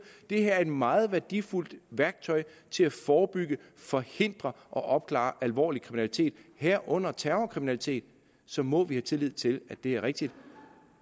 det her er et meget værdifuldt værktøj til at forebygge forhindre og opklare alvorlig kriminalitet herunder terrorkriminalitet så må vi have tillid til at det er rigtigt